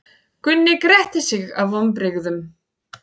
Gunni gretti sig af vonbrigðum.